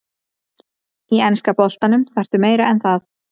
Í enska boltanum þarftu meira en það.